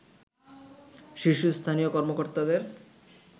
শীর্ষস্থানীয় কর্মকর্তাদের